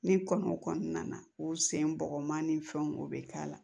Ni kɔnɔ kɔni nana u sen bɔgɔma ni fɛnw be k'a la